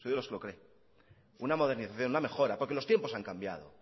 soy de los que lo cree una modernización una mejora porque los tiempos han cambiado